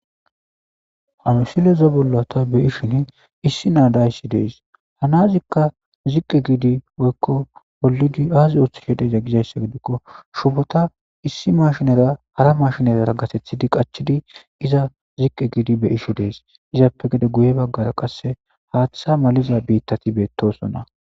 ha misileza bolla ta beishin issi naa dayssi dees hanazikka ziqqe giidi boykko bollidi aazi oothishedeza gizayssa gidikko shufota issi mashnera hara mashinerara gatethidi qachidi iza ziqqe giidi beishe dees izappe gede guye baggara qasse haaththa maliza biittati beettosonna